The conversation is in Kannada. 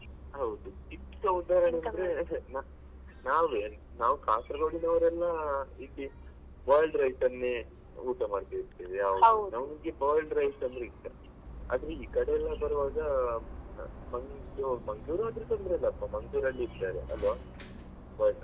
ಹೌದು ಅಂದ್ರೆ ನಾವೇ ನಾವ್ Kasaragod ನವರೆಲ್ಲ boiled rice ಅನ್ನೇ ಊಟ ಮಾಡ್ತಾ ಇರ್ತೇವೆ ಯಾವಾಗ್ಲೂ ನಮ್ಗೆ boiled rice ಅಂದ್ರೆ ಇಷ್ಟ ಆದ್ರೆ ಈ ಕಡೆ ಎಲ್ಲ ಬರುವಾಗ Man~ Mangalore ಅಂದ್ರೆ ತೊಂದ್ರೆ ಇಲ್ಲಪ್ಪ Mangalore ಅಲ್ಲಿ ಇದ್ದಾರೆ ಅಲ್ವ .